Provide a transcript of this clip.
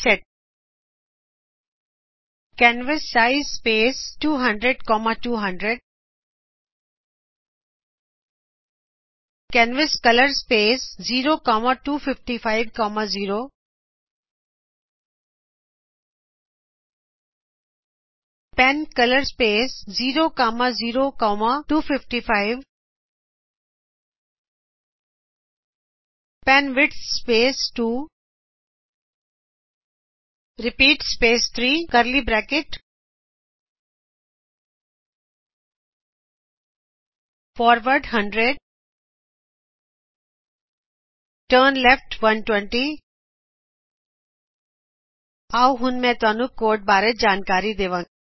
reset canvas size space ਦੇਕੇ 200200 canvas colour space ਦੇ ਕੇ ਪੈੱਨ ਕਲਰ ਸਪੇਸ ਦੇ ਕੇ ਪੈੱਨਵਿੜਥ ਸਪੇਸ ਦੇ ਕੇ 2 ਰਪੀਟ ਸਪੇਸ ਕੇ 3 ਕਰਲੀ ਬਰੈਕਟ ਦੇ ਨਾਲ ਫਾਰਵਰਡ 100 ਟਰਨ ਲੈਫਟ 120 ਆਓ ਹੁਣ ਮੈਂ ਤੁਹਾਨੂੰ ਕੋਡ ਬਾਰੇ ਜਾਣਕਾਰੀ ਦੇਵਾ